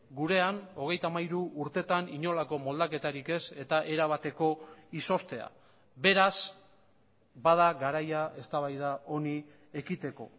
gurean hogeita hamairu urtetan inolako moldaketarik ez eta erabateko izoztea beraz bada garaia eztabaida honi ekiteko